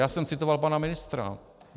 Já jsem citoval pana ministra.